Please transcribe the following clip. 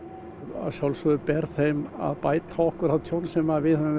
að sjálfsögðu ber þeim að bæta okkur það tjón sem við höfum